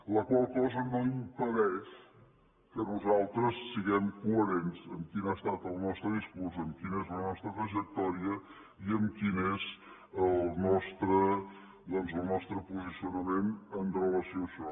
la qual cosa no impedeix que nosaltres siguem coherents amb quin ha estat el nostre discurs amb quina és la nostra trajectòria i amb quin és el nostre posicionament amb relació a això